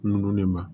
Ndolo nin ma